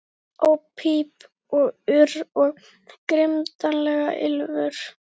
Óp píp og urr, og grimmdarlegt ýlfur.